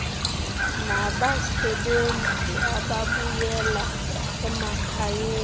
nabasebenzi ababuyela emakhayeni